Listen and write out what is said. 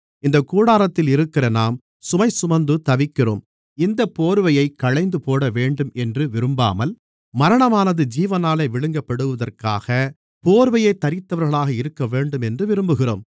இந்தக் கூடாரத்தில் இருக்கிற நாம் சுமை சுமந்து தவிக்கிறோம் இந்தப் போர்வையைக் களைந்து போடவேண்டும் என்று விரும்பாமல் மரணமானது ஜீவனாலே விழுங்கப்படுவதற்காக போர்வை தரித்தவர்களாக இருக்கவேண்டும் என்று விரும்புகிறோம்